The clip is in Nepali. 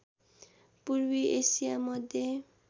पूर्वी एशिया मध्य